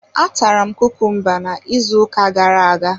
A tara m kukumba ka na ịzụ ụka gara-aga.